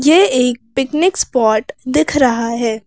ये एक picnic spot दिख रहा है।